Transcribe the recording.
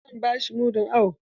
Zan ba shi mudun awo.